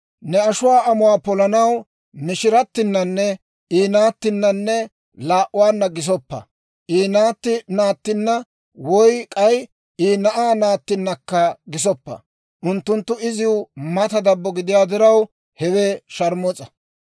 « ‹Ne ashuwaa amuwaa polanaw mishiratinanne I naattinanne laa'uwaanna gisoppa. I naatti naattinna woy k'ay I na'aa naattinakka gisoppa; unttunttu iziw mata dabbo gidiyaa diraw, hewe sharmus'a.